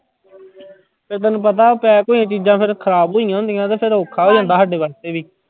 ਤੇ ਤੈਨੂੰ ਪਤਾ pack ਹੋਈਆਂ ਚੀਜ਼ਾਂ ਫਿਰ ਖ਼ਰਾਬ ਹੋਈਆਂ ਹੁੰਦੀਆਂ ਤੇ ਫਿਰ ਔਖਾ ਹੋ ਜਾਂਦਾ ਸਾਡੇ ਵਾਸਤੇ ਵੀ।